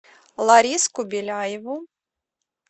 лариску беляеву